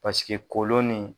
Pasike kolon ni